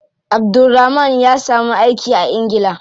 Abdulrahman ya samu aiki a ingila.